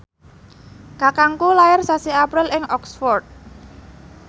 kakangku lair sasi April ing Oxford